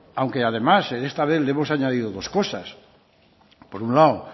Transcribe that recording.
aunque además en esta vez le hemos añadido dos cosas por un lado